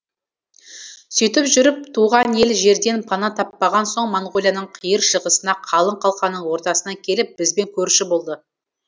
сөйтіп жүріп туған ел жерден пана таппаған соң монғолияның қиыр шығысына қалың қалқаның ортасына келіп бізбен көрші болды